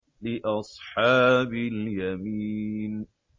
لِّأَصْحَابِ الْيَمِينِ